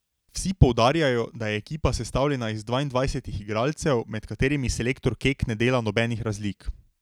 Vsi poudarjajo, da je ekipa sestavljena iz dvaindvajsetih igralcev, med katerimi selektor Kek ne dela nobenih razlik.